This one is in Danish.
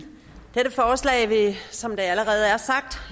som det allerede er sagt